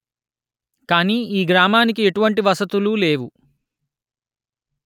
కాని ఈ గ్రామానికి ఎటువంటి వసతులు లేవు